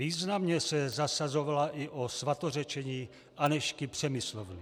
Významně se zasazovala i o svatořečení Anežky Přemyslovny.